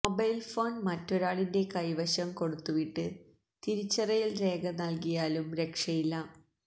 mobile phone മറ്റൊരാളിന്റെ കൈവശം കൊടുത്തുവിട്ട് തിരിച്ചറിയൽ രേഖ നൽകിയാലും രക്ഷയില്ല